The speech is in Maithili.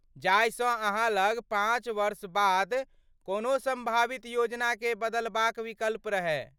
जाहिसँ अहाँ लग पाँच वर्ष बाद कोनो सम्भावित योजनाकेँ बदलबाक विकल्प रहय।